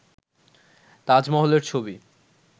তাজমহলের ছবি